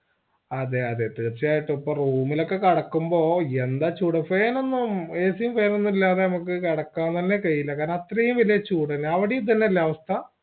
അതെ അതെ തീർച്ചയായിട്ടും ഇപ്പൊ room ഇലോക്കെ കടക്കുമ്പോ യെന്ത ചൂട് fan ഒന്നും ac യും fan ഒന്നുല്ലാത്തെ നമ്മക്ക് കെടക്കാൻ തെന്നെ കയ്യില്ലാ കാരണം ആത്രേയം വെല്യ ചൂടല്ലേ അവിടെയും ഇതെന്നെയല്ലേ അവസ്ഥ